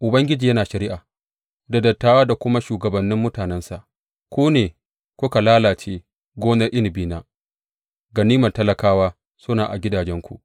Ubangiji yana shari’a da dattawa da kuma shugabannin mutanensa, Ku ne kuka lalace gonar inabina; ganimar talakawa suna a gidajenku.